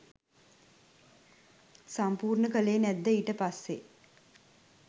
සම්පූර්ණ කලේ නැද්ද ඊට පස්සේ?